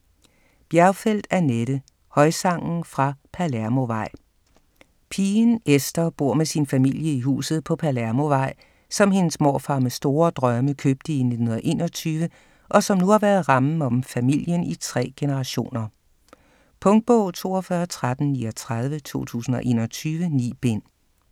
Bjergfeldt, Annette: Højsangen fra Palermovej Pigen Esther bor med sin familie i huset på Palermovej, som hendes morfar med store drømme købte i 1921, og som nu har været rammen om familien i tre generationer. Punktbog 421339 2021. 9 bind.